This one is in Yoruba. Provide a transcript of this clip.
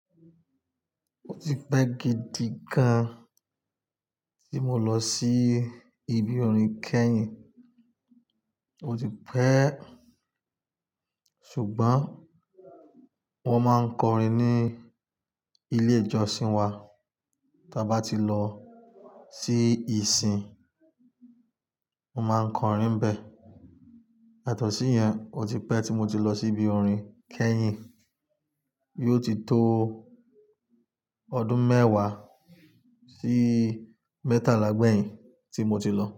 Ó ti pẹ́ gidi gan tí mo lọ sí ibi orin kẹ́yìn, ó ti pẹ́. Ṣùgbọ́n mo máa ń kọrin ní ilé ìjọsìn wa. Tí a bá ti lọ sí ìsìn, mo máa ń kọrin bẹ́ẹ̀. Àtọ̀sí yẹn ó ti pẹ́ tí mo ti lọ sí ibi orin kẹ́yìn. Yíò ó ti tó ọdún mẹ́wàá sí mẹ́tàlá gbẹ̀yìn tí mo ti lọ.